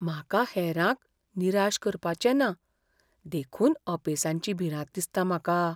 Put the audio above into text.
म्हाका हेरांक निराश करपाचें ना, देखून अपेसाची भिरांत दिसता म्हाका.